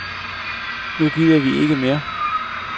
Nu gider vi ikke mere.